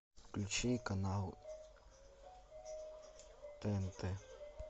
включи канал тнт